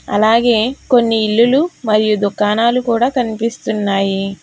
అలాగే కొన్ని ఇల్లులు మరియు దుకాణాలు కూడా కనిపిస్తున్నాయి.